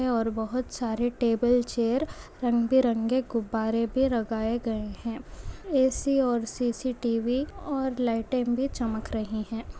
और बहुत सारे टेबल चेयर रंग बिरंगे गुब्बारे भी लगाए गए है ऐ.सी और सी.सी.टी.व्ही और लाइट बी चमक रही है।